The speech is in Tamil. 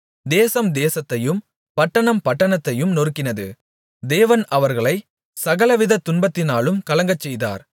தேசம் தேசத்தையும் பட்டணம் பட்டணத்தையும் நொறுக்கினது தேவன் அவர்களைச் சகலவித துன்பத்தினாலும் கலங்கச்செய்தார்